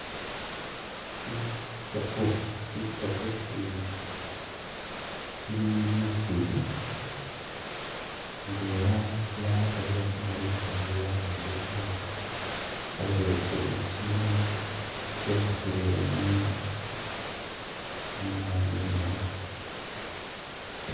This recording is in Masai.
Itsofu, tsitsofu tsibili tsili muusiru, ndwela yatarire khu maru ikindi yabimbile kamaru, tsaleyesile kiminwa tsyekhisile mu- muna mu bunyasi.